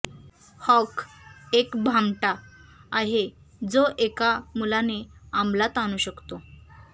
हॉक एक भामटा आहे जो एका मुलाने अंमलात आणू शकतो